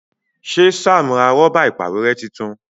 Ṣe Sam rà Rọ́bà ìpàwérẹ́ títún?